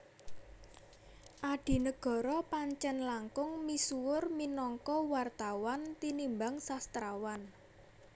Adinegoro Pancèn langkung misuwur minangka wartawan tinimbang sastrawan